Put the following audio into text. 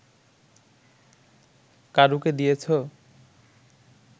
কারুকে দিয়েছ